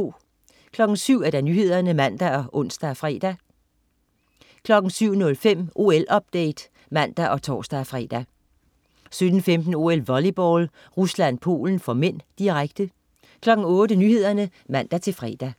07.00 Nyhederne (man og tors-fre) 07.05 OL-update (man og tors-fre) 07.15 OL: Volleyball. Rusland-Polen (m), direkte 08.00 Nyhederne (man-fre)